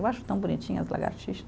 Eu acho tão bonitinhas as lagartixas.